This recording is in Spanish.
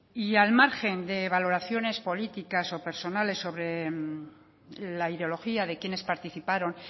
y al margen de valoraciones políticas o personales sobre la ideología de quienes participaron